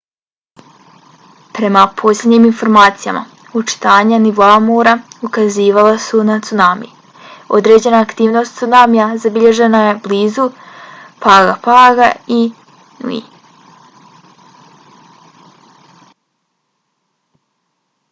prema posljednjim informacijama očitanja nivoa mora ukazivala su na cunami. određena aktivnost cunamija zabilježena je blizu pago paga i niue